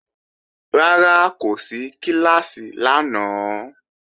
Rárá, kò sí kíláàsì lánàá